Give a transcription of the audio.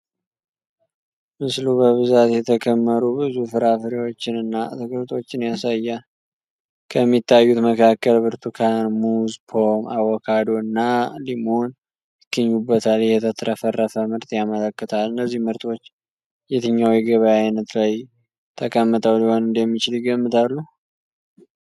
ምስሉ በብዛት የተከመሩ ብዙ ፍራፍሬዎችንና አትክልቶችን ያሳያል። ከሚታዩት መካከል ብርቱካን፣ ሙዝ፣ ፖም፣ አቮካዶ እና ሊሞን ይገኙበታል፤ ይህም የተትረፈረፈ ምርት ያመለክታል። እነዚህ ምርቶች የትኛው የገበያ አይነት ላይ ተቀምጠው ሊሆን እንደሚችል ይገምታሉ?